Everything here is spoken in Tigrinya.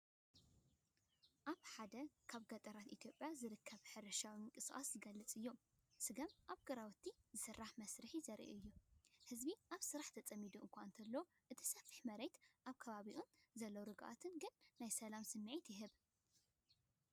ኣብ ሓደ ካብ ገጠራት ኢትዮጵያ ዝርከብ ሕርሻዊ ምንቅስቓስ ዝገልጽ እዩ። ስገም ኣብ ግራውቲ ዝስራሕ መስርሕ ዘርኢ እዩ። ህዝቢ ኣብ ስራሕ ተጸሚዱ እኳ እንተሎ፡ እቲ ሰፊሕ መሬትን ኣብ ከባቢኡ ዘሎ ርግኣትን ግን ናይ ሰላም ስምዒት ይህብ።